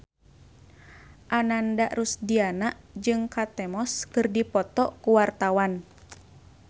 Ananda Rusdiana jeung Kate Moss keur dipoto ku wartawan